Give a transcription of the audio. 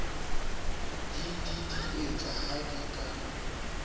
di didietse ha di ka